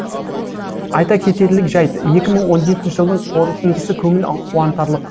айта кетерлік жайт екі мың он жетінші жылдың қорытындысы көңіл қуантарлық